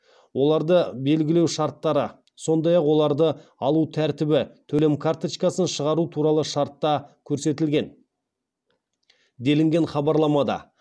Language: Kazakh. оларды белгілеу шарттары сондай ақ оларды алу тәртібі төлем карточкасын шығару туралы шартта көрсетілген делінген хабарламада